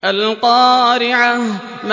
الْقَارِعَةُ